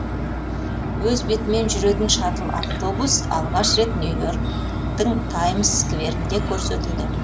өз бетімен жүретін шаттл автобус алғаш рет нью и орктің таймс скверінде көрсетілді